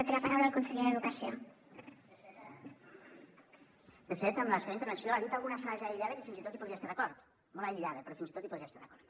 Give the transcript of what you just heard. de fet en la seva intervenció ha dit alguna frase aïllada que fins i tot hi podria estar d’acord molt aïllada però fins i tot hi podria estar d’acord